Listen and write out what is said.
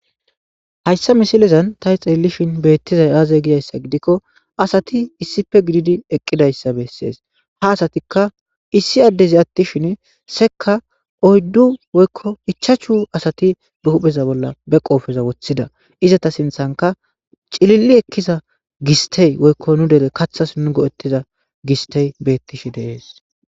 hayssa misilezan tah xeellishin beettizay aaze gidayssa gidikko asati issife gididi eqqidayssa bessees ha asatikka issi addezi atti shin sekka oyddu woykko ichachu asati behupheza bolla be qoofeza woththida iza ta sinthanka cililli ekkiza gistey woykko nu dele kathas nu go7ettiza gistey beettishi deees